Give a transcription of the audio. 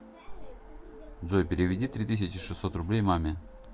джой переведи три тысячи шестьсот рублей маме